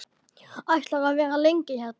Ætlarðu að vera lengi hérna?